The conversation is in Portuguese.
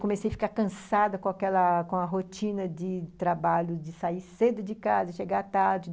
Comecei a ficar cansada com aquela com a rotina de trabalho, de sair cedo de casa e chegar tarde.